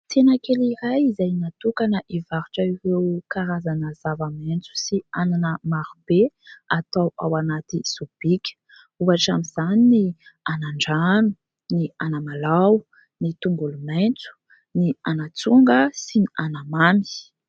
Tsena kely iray izay natokana ivarotra ireo karazana zava-maintso sy anana maro be atao ao anaty sobika. Ohatra amin'izany ny anan-drano, ny anamalao ny tongolo maintso, ny anatsonga sy ny anamamy.